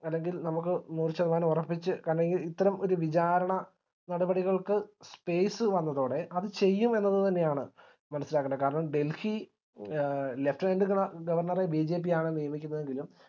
അല്ലെങ്കി നമുക്ക് നൂറുശതമാനം ഉറപ്പിച് കാരണം ഇ ഇത്തരം ഒരു വിചാരണ നടപടികൾക്ക് space വന്നതോടെ അത് ചെയ്യും എന്നത് തന്നെയാണ് മനസ്സിലാക്കണ്ടത് കാരണം delhi ആ lieutenant ഗവർണറെ BJP ആണ് നിയമിക്കുന്നത് എങ്കിലും